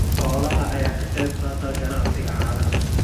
Xoolaha ayaa ka qayb qaata ganacsiga caanaha.